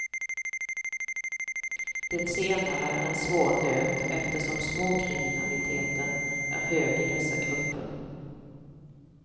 Det senare är en svår nöt eftersom småkriminaliteten är hög i dessa grupper.